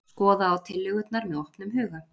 Skoða á tillögurnar með opnum huga